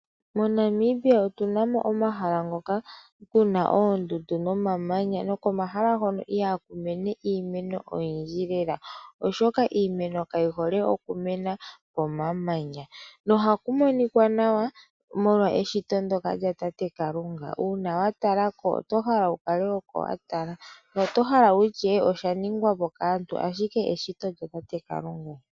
MoNamibia otuna mo omahala ngono kuna oondundu nomamanya. Komahala hono ihaku mene iimeno oyindji lela oshoka iimeno kayi hole okumena momamanya. Ohaku monika nawa notohala okutya osha ningwa po kaantu ashike eshito lyatate Kalunga.